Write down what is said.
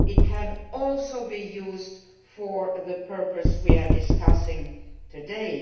It can also be used for the purpose we are discussing today.